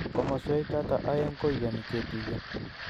Komoswek choto aeng koiyani ketuiyo